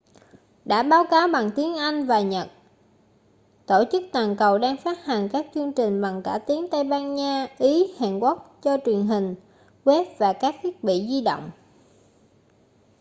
đã báo cáo bằng tiếng anh và nhật tổ chức toàn cầu đang phát hành các chương trình bằng cả tiếng tây ban nha ý hàn quốc cho truyền hình web và thiết bị di động